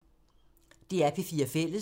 DR P4 Fælles